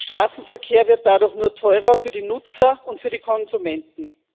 Straßenverkehr wird dadurch nur teurer für die Nutzer und für die Konsumenten.